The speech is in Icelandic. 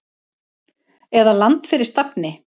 eða Land fyrir stafni!